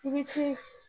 I bi ci